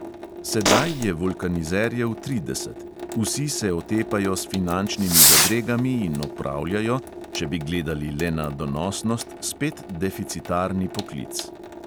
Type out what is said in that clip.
Sedaj je vulkanizerjev trideset, vsi se otepajo s finančnimi zadregami in opravljajo, če bi gledali le na donosnost, spet deficitarni poklic.